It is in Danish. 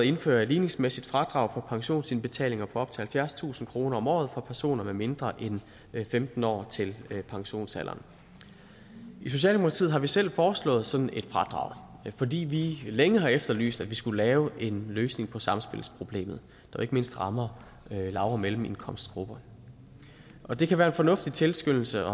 indføre et ligningsmæssigt fradrag for pensionsindbetalinger på op til halvfjerdstusind kroner om året for personer med mindre inden femten år til pensionsalderen i socialdemokratiet har vi selv foreslået sådan et fradrag fordi vi længe har efterlyst at vi skulle lave en løsning på samspilsproblemet der ikke mindst rammer lav og mellemindkomstgrupperne det kan være en fornuftig tilskyndelse